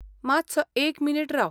मातसो एक मिनिट राव .